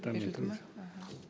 берілді ме аха